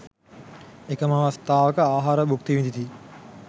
එකම අවස්ථාවක, ආහාර භුක්ති විඳිති.